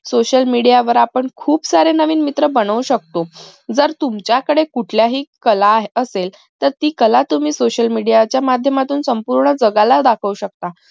social media वर आपण खूप सारे नवीन मित्र बनवू शकतो जर तुमच्याकडे कुठल्याही कला असेल तर ती कला तुम्ही social media च्या माध्यमातून संपूर्ण जगाला दाखवू शकता